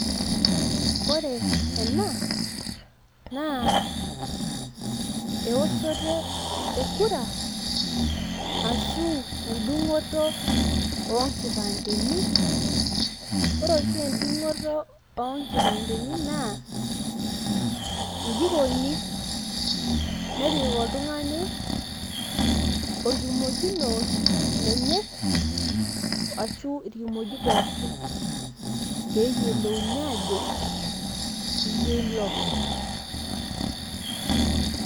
ore ena naa eoshoto e kura ashu edung'oto oo nkipandeni, ore oshi edung'oto oo kipandeni naa iji ikoni. nepik oltungani enkimojino enye, asu irkimojik pookin. pee eyiolouni ajo iyie ilo.